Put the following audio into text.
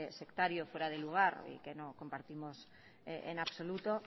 sectario fuera de lugar y que no compartimos en absoluto